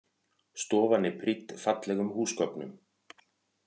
Stofan er prýdd fallegum húsgögnum